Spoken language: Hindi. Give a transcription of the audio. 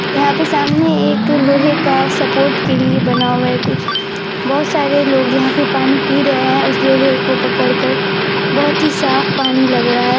यहाँ पे सामने एक लोहे का सपोर्ट के लिए बना हुआ है कुछ बोहोत सारे लोग यहां पे पानी पी रहे है उस लोहे को पकड़ कर बोहोत ही साफ पानी लग रहा हैं।